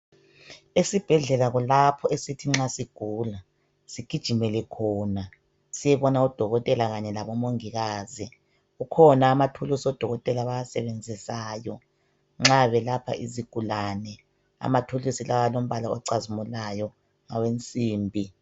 esibhedlela kulapho esithi nxa sigula sigijimele khona siyebona odokotela kanye labo mongikazi kukhona amathulusi amadokotela abawasebenzisayo nxa belapha izigulane ama thulusi lawa alombala ocazimulayo awensimbi